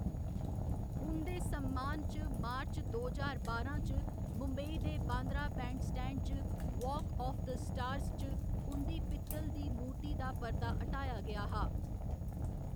उं'दे सम्मान च मार्च दो ज्हार बारां च मुंबई दे बांद्रा बैंडस्टैंड च वाक आफ द स्टार्स च उं'दी पित्तल दी मूरती दा पर्दा हटाया गेआ हा।